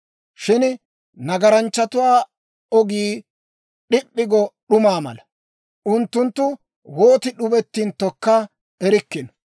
Shin nagaranchchatuwaa ogii d'ip'p'i go d'umaa mala; unttunttu wooti d'ubettinttokka erikkino.